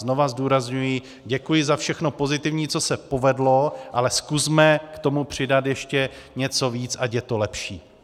Znova zdůrazňuji, děkuji za všechno pozitivní, co se povedlo, ale zkusme k tomu přidat ještě něco víc, ať je to lepší.